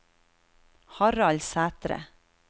Harald Sætre